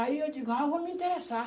Aí eu digo, ah, vou me interessar.